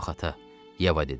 Yox, ata, Yeva dedi.